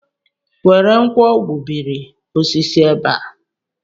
Were nkwọ gbubiri osisi ebe a!